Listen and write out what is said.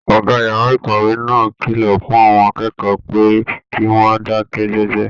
Ọgá yàrá ìkàwé náà kìlọ fún àwọn akẹ́kọ̀ọ́ pé kí wọn dakẹ jẹjẹ.